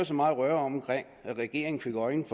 så meget røre om at regeringen fik øjnene